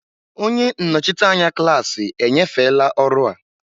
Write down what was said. Onye nnọchite anya klaasị enyefela ọrụ a.